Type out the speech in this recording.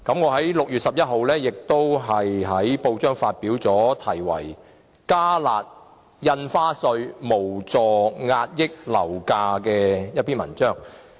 在6月11日，我也在報章發表題為"'加辣'印花稅無助遏抑樓價"的文章。